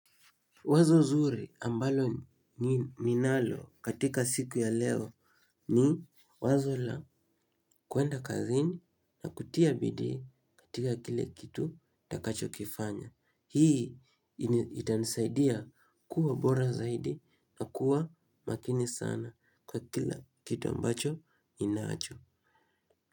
Wazo zuri ambalo ni ninalo katika siku ya leo ni wazo la kuenda kazini na kutia bidii katika kile kitu ntakacho kifanya. Hii itanisaidia kuwa bora zaidi na kuwa makini sana kwa kila kitu ambacho inacho.